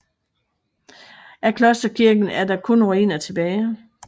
Af klosterkirken er der kun ruiner tilbage